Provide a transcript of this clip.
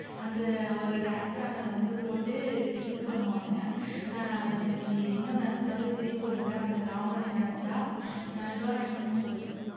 அந்த அவரு dance ஆனதை வந்து போட்டு sink பண்ணுவாங்க அஹ் அது எனக்கு இன்னும் நினைச்சாலும் சிரிப்பு வருது அந்த comedy யை நினைச்சா அஹ் டோரா நீங்களே சொல்லுங்க